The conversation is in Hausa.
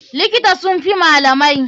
Likita sun fi malamai.